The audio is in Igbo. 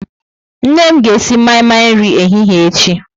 Nne m ga-esi mai-mai nri ehihie echi.